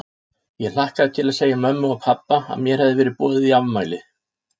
Ég hlakkaði til að segja mömmu og pabba að mér hefði verið boðið í afmæli.